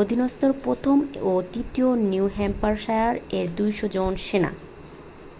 অধীনস্থ ১ম ও ৩য় নিউ হ্যাম্পশায়ার-এর ২০০ জন সেনা।